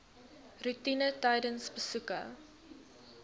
roetine tydens besoeke